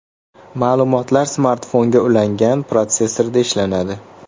Ma’lumotlar smartfonga ulangan protsessorda ishlanadi.